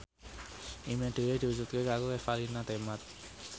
impine Dewi diwujudke karo Revalina Temat